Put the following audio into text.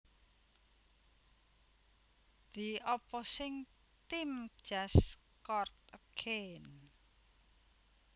The opposing team just scored again